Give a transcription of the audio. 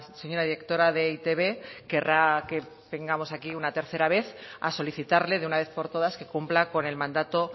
señora directora de e i te be querrá que tengamos aquí una tercera vez a solicitarle de una vez por todas que cumpla con el mandato